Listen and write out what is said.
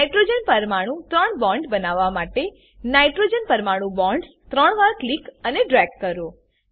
nitrogen પરમાણુમા ત્રણ bond બનવવા માટે નાઇટ્રોજન પરમાણુ બોન્ડ્સ ત્રણ વાર ક્લિક અને ડ્રેગ કરો